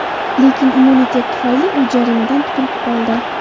Lekin immunitet tufayli u jarimadan qutilib qoldi.